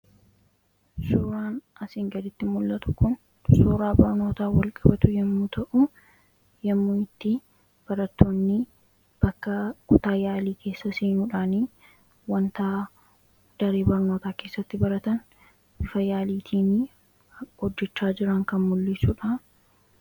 Suuraan asiin gaditti mul'atu kun suuraa barnoota wal qibatu ta'u yommuu itti baratoonni bakka kutaa yaalii keessa seenuudhaanii wantaa daree barnootaa keessatti baratan bifa yaaliitiin hojjichaa jiran kan mul'iissuudha.